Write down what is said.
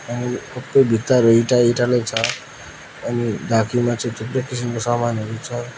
सबै भित्ताहरु इटाई इटाइनै छ अनि ढाकिमा चाहिँ थुप्रो किसिमको सामानहरू छ।